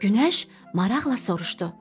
Günəş maraqla soruşdu: